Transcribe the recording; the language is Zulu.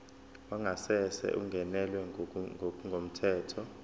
wangasese ungenelwe ngokungemthetho